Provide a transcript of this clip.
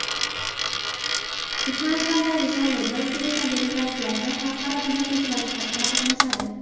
Turkmanistondagi saylovda O‘zbekiston delegatsiyasi xalqaro kuzatuvchilar sifatida qatnashadi.